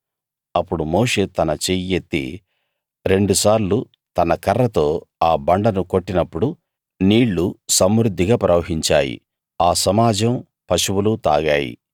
అప్పుడు మోషే తన చెయ్యెత్తి రెండుసార్లు తన కర్రతో ఆ బండను కొట్టినప్పుడు నీళ్లు సమృద్ధిగా ప్రవహించాయి ఆ సమాజం పశువులూ తాగాయి